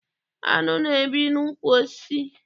Áṅụ na- ebi n'ukwu osisi.